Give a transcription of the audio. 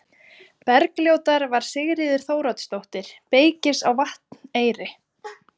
Bergljótar var Sigríður Þóroddsdóttir, beykis á Vatneyri.